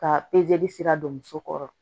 Ka sira don muso kɔrɔ